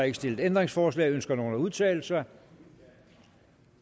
ikke stillet ændringsforslag ønsker nogen at udtale sig